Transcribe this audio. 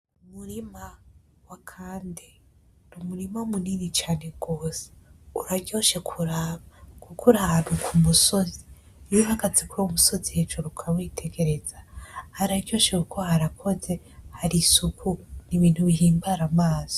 Umurima wa Kande, ni umurima munini cane gose. Uraryoshe kuraba kuko uri ahantu kumusozi. Iyo uhagaze kuri uwo musozi hejuru ukawitegereza, hararyoshe kuko harakoze, hari isuku ni ibintu bihimbara amaso.